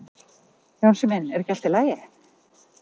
Jónsi minn, er ekki allt í lagi?